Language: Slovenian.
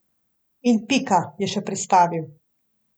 In pika, je še pristavil.